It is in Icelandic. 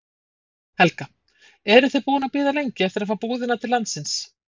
Helga: Eruð þið búin að bíða lengi eftir að fá búðina til landsins?